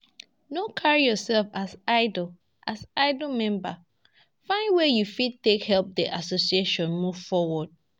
No carry yourself as idle as idle member, find where you fit take help the association move forward